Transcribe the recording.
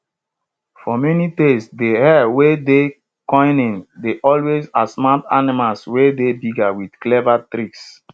for many tales de hare wey dey cunning dey always outsmart animals wey dey bigger wit clever tricks